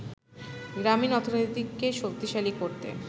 গ্রামীণ অর্থনীতিকে শক্তিশালী করতে